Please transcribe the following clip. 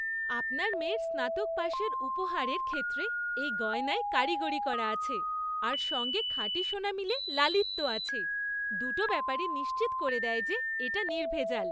আপনার মেয়ের স্নাতক পাশের উপহারের ক্ষেত্রে এই গয়নায় কারিগরি করা আছে আর সঙ্গে খাঁটি সোনা মিলে লালিত্য আছে, দুটো ব্যাপারই নিশ্চিত করে দেয় যে এটা নির্ভেজাল।